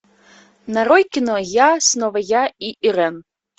нарой кино я снова я и ирэн